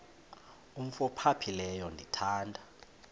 umf ophaphileyo ndithanda